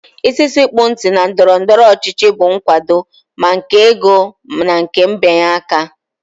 Isi sekpụ ntị na ndọrọndọrọ ọchịchị bụ nkwado, ma nke ego na nke mbịanye aka